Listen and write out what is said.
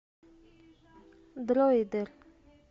дроидер